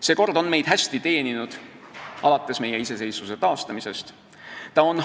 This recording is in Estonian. See kord on meid alates meie iseseisvuse taastamisest hästi teeninud.